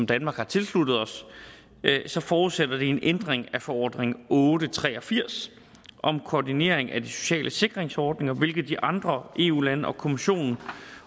danmark har tilsluttet os så forudsætter det en ændring af forordning otte hundrede og tre og firs om koordinering af de sociale sikringsordninger hvilket de andre eu lande og europa kommissionen